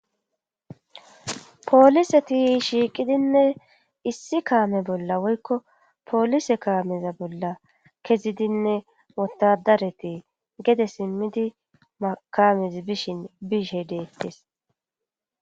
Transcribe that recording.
pooliseti shiiqidinne issi kaame bolla woykko poolise kaameza bolla kezidinne wotadareti gede simmidi kamezi bishin biishe deettes